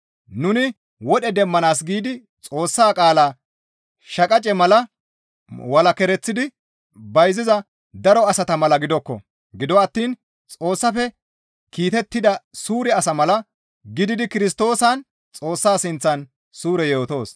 Nuni Wodhe demmanaas giidi Xoossa qaala shaqace mala walakereththidi bayziza daro asata mala gidokko; gido attiin Xoossafe kiitettida suure asa mala gididi Kirstoosan Xoossa sinththan suure yootoos.